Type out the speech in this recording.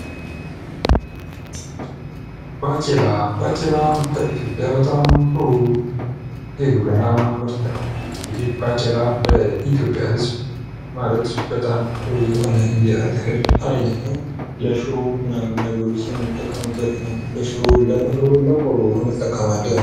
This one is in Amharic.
ባቂላ፦ ባቄላ እንግዲህ በኢትዮጵያ የግብርና ምርት ነው። ለኢትዮጵያ ህዝብ ማለት በጣም ጥሩ የሆነ የእህል አይነት ነው። ለሽሮ ምናምን ነገሮች የምንጠቀምንበት ነው። ለንፍሮ ለቆሎ እንጠቀማለን።